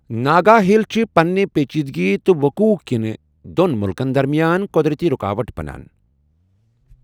ناگا ہلِ چِھ پَننہِ پیچیدگی تہٕ وقوع كِنہِ دوٛن مُلکَن درمیان قو٘درٔتی رُکاوَٹ بَنان